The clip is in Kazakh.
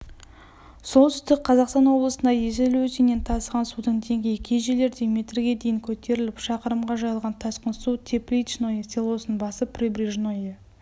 солтүстік қазақстан облысында есіл өзенінен тасыған судың деңгейі кей жерлерде метрге дейін көтеріліп шақырымға жайылған тасқын су тепличное селосын басып прибрежное